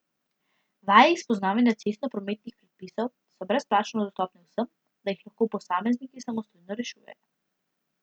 Vaje iz poznavanja cestno prometnih predpisov so brezplačno dostopne vsem, da jih lahko posamezniki samostojno rešujejo.